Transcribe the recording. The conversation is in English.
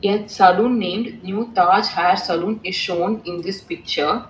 A salon name new taj hair salon is shown in this picture.